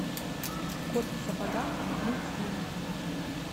кот в сапогах мультфильм